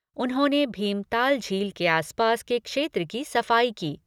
उन्होंने भीमताल झील के आसपास के क्षेत्र की सफाई की।